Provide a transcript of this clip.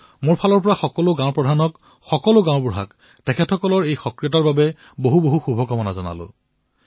মোৰ তৰফৰ পৰা সকলো গাঁওবুঢ়াক সকলো পঞ্চায়ত কৰ্মীক তেওঁলোকৰ এই সক্ৰিয়তাৰ বাবে অশেষ শুভকামনা জনাইছো